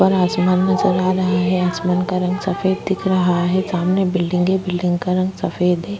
उपर आसमान नजर आ रहा है आसमान का रंग सफ़ेद दिख रहा है सामने बिल्डिंग है बिल्डिंग का रंग सफ़ेद है।